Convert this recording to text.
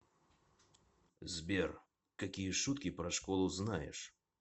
сбер какие шутки про школу знаешь